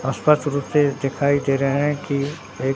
आस पास रूपे दिखाई दे रहे हैं की एक--